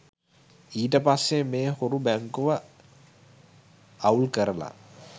ඊට පස්සේ මේ හොරු බැංකුව අව්ල්කරලා